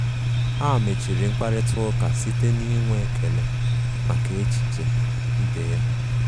Ha mechiri mkparịta ụka site n'inwe ekele maka echiche ibe ya.